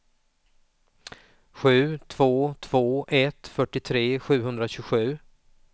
sju två två ett fyrtiotre sjuhundratjugosju